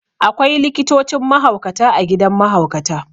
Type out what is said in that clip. Akwai likitocin mahaukata a gidan mahaukata.